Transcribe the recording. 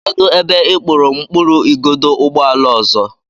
Kedụ ebe ị kpụrụ mkpụrụ igodo ụgbọala ọzọ?